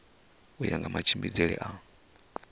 u ya nga matshimbidzele a